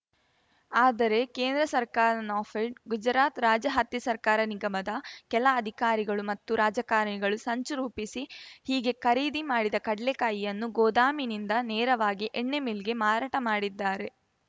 ಆದರೆ ಕೇಂದ್ರ ಸರ್ಕಾರ ನಾಫೆಡ್‌ ಗುಜರಾತ್‌ ರಾಜ್ಯ ಹತ್ತಿ ಸಹಕಾರ ನಿಗಮದ ಕೆಲ ಅಧಿಕಾರಿಗಳು ಮತ್ತು ರಾಜಕಾರಣಿಗಳು ಸಂಚು ರೂಪಿಸಿ ಹೀಗೆ ಖರೀದಿ ಮಾಡಿದ ಕಡ್ಲೆಕಾಯಿಯನ್ನು ಗೋದಾಮಿನಿಂದ ನೇರವಾಗಿ ಎಣ್ಣೆಮಿಲ್‌ಗೆ ಮಾರಾಟ ಮಾಡಿದ್ದಾರೆ